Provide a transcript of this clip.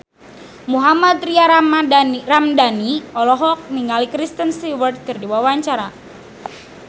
Mohammad Tria Ramadhani olohok ningali Kristen Stewart keur diwawancara